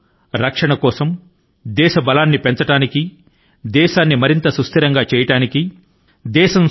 మన ప్రయత్నాలు అన్నీ కూడాను ఒకే దిశ లో ఉండాలి మన సరిహద్దుల ను పరిరక్షించడం లో దేశం యొక్క సామర్థ్యాల ను మరింత గా పెంచే దిశ గా మనం కృషి చేయాలి